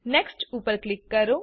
next ઉપર click કરો